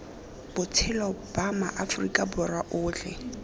botshelo ba maaforika borwa otlhe